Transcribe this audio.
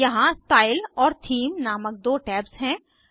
यहाँ स्टाइल और थीम नामक दो टैब्स हैं